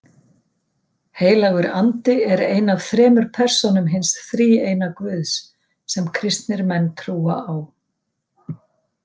Heilagur andi er ein af þremur persónum hins þríeina Guðs sem kristnir menn trúa á.